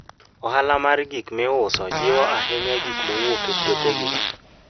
Ohala mar gik miuso jiwo ahinya gik mowuok e puothegi.